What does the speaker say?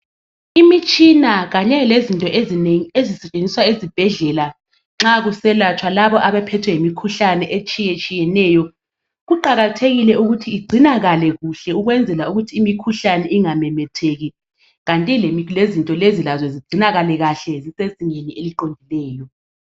Imitshina kanye lezinto ezinengi ezisetshenziswa ezibhedlela nxa kuselatshwa labo abaphethwe yimikhuhlane etshiye tshiyeneyo kuqakathekile ukuthi igcinakale kuhle ukwenzela ukuthi imikhuhlane ingamemetheki kanti lezinto lezi lazo zigcinakale kahle zisezingeni eliqondileyo.